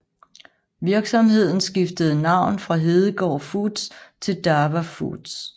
Virksomheden skiftede navn fra Hedegaard Foods til DAVA Foods